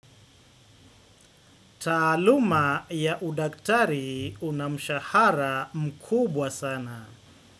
Taaluma ya udaktari unamshahara mkubwa sana.